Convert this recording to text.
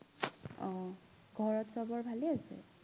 অ ঘৰত সৱৰ ভালেই আছে